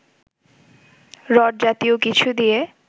rod জাতীয় কিছু দিয়ে